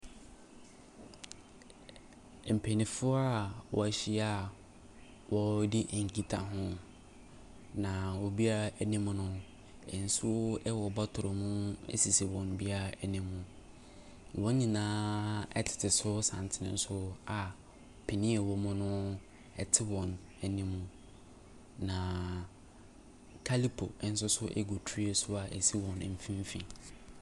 Mpanimfoɔ a wɔahyia a wɔredi nkitaho. Na obiara anim no, nsuo wɔ bɔtolo bi sisi wɔn biara anim. Wɔn nyinaaaaa tete so so santene so a panin a ɔwɔ mu no te wɔn anim. Na Kalipo nso so gu tray so a ɛsi wɔn mfimfini.